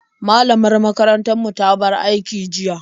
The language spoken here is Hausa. Malamar makarantar mu ta bar aiki jiya.